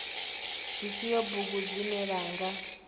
dzifhio bugu dzine vha nga